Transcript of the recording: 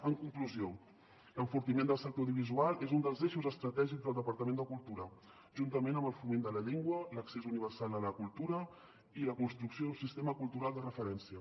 en conclusió l’enfortiment del sector audiovisual és un dels eixos estratègics del departament de cultura juntament amb el foment de la llengua l’accés universal a la cultura i la construcció d’un sistema cultural de referència